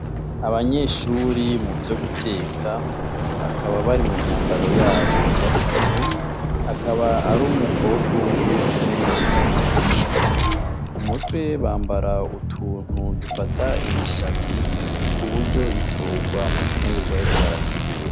Abanyeshure muvyo guteka ,bakaba bari mumyambaro yabo yakazi ,akaba ar'umukobwa umwe n'umugabo inyuma. Mumutwe bambara utuntu dufata imishatsi kubugo itogwa mu nfungurwa bariko barategura.